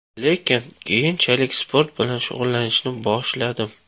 Lekin keyinchalik sport bilan shug‘ullanishni boshladim.